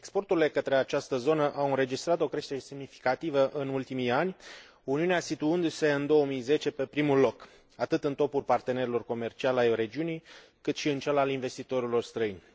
Exporturile către această zonă au înregistrat o creștere semnificativă în ultimii ani, Uniunea situându se în 2010 pe primul loc atât în topul partenerilor comerciali ai regiunii, cât și în cel al investitorilor străini.